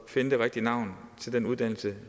finde det rigtige navn til den uddannelse